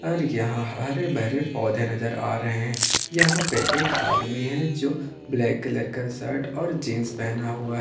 और यहां हरे भरे पौधे नजर आ रहे हैं यहां पे एक आदमी है जो ब्लैक कलर का शर्ट और जींस पहना हुआ है।